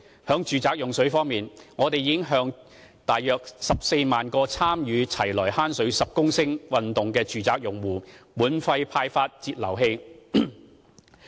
在住宅用水方面，我們已向大約14萬個參與"齊來慳水十公升"運動的住宅用戶，免費派發節流器。